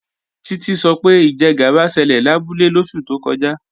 Títí sọ pé ìjẹgàba ṣẹlẹ̀ labúlé lóṣù tó kọjá